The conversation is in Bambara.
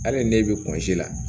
Hali n'e bɛ la